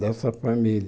Dessa família.